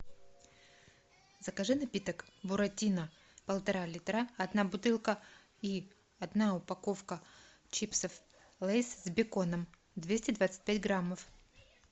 закажи напиток буратино полтора литра одна бутылка и одна упаковка чипсов лейс с беконом двести двадцать пять граммов